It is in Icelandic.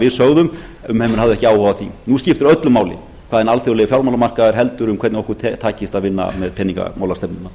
við sögðum menn höfðu ekki áhuga á því nú skiptir öllu máli hvað hinn alþjóðlegi fjármálamarkaður heldur um hvernig okkur takist að vinna með peningamálastefnuna